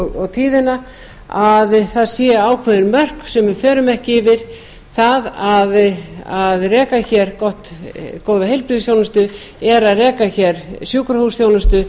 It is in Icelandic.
og tíðina að það séu ákveðin mörk sem við förum ekki yfir það að reka hér góða heilbrigðisþjónustu er að reka hér sjúkrahúsþjónustu